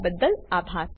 અમને જોડાવાબદ્દલ આભાર